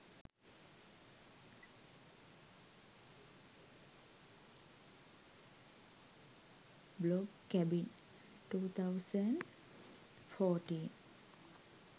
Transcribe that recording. blog cabin 2014